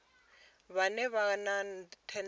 vhane vha vha na thendelo